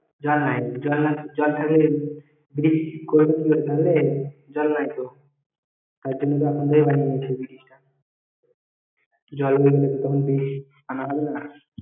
জল নাই জল না জল থাকলে bridge করবে তাহলে জল নাই তো তাই জন্য এখন থেকে বানিয়েছে bridge টা জল হলে তখন bridge আনা হবেনা